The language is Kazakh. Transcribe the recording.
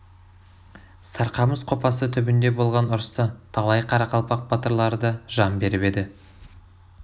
сарқамыс қопасы түбінде болған ұрыста талай қарақалпақ батырлары да жан беріп еді